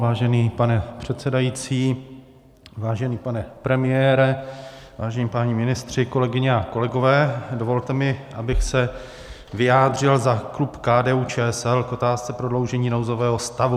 Vážený pane předsedající, vážený pane premiére, vážení páni ministři, kolegyně a kolegové, dovolte mi, abych se vyjádřil za klub KDU-ČSL k otázce prodloužení nouzového stavu.